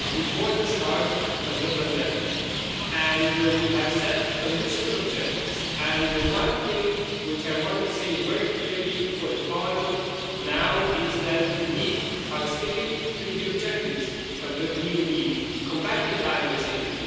It was before the start of the pandemic, and we set ambitious objectives. The one thing which I want to say very clearly for Parliament now is that we are sticking to the objectives of the Green Deal combating climate change